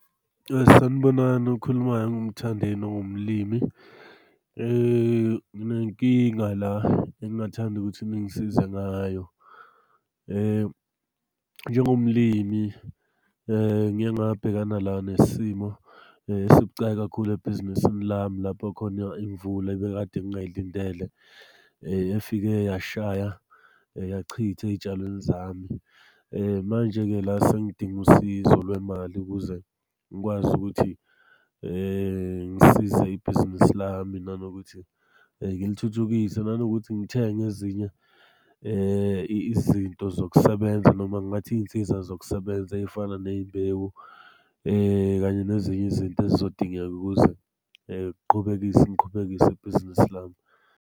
Sanibonani, okhulumayo uMthandeni ongumlimi. Nginenkinga la engingathanda ukuthi ningisize ngayo, njengomlimi ngike ngabhekana la nesimo esibucayi kakhulu ebhizinisini lami lapho khona imvula ebekade ngingayilindele ifike yashaya yachitha ey'tshalweni zami. Manje-ke la sengidinga usizo lwemali ukuze ngikwazi ukuthi ngisize ibhizinisi lami, nanokuthi ngilithuthukise, nanokuthi ngithenge ezinye izinto zokusebenza noma ngingathi iy'nsiza zokusebenza ey'fana ney'mbewu kanye nezinye izinto ezizodingeka ukuze qhubekise, ngiqhubekise ibhizinisi lami.